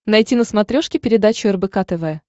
найти на смотрешке передачу рбк тв